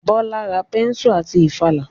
Bọ́lá ra bẹ́nsù àti ìfàlà